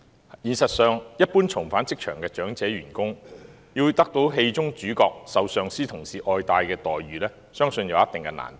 在現實中，一般重返職場的長者員工要得到戲中主角受上司及同事愛戴的待遇，相信有一定難度。